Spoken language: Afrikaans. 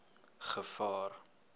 gevaar